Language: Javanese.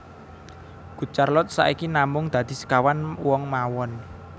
Good Charlotte saiki namung dadi sekawan wong mawon